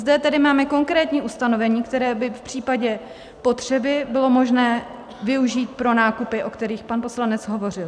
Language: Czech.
Zde tedy máme konkrétní ustanovení, která by v případě potřeby bylo možné využít pro nákupy, o kterých pan poslanec hovořil.